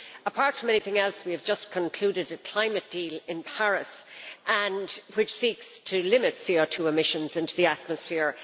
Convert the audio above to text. Apart from anything else, we have just concluded a climate deal in Paris which seeks to limit CO2 emissions into the atmosphere.